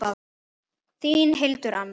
Þín, Hildur Anna.